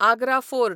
Agra fort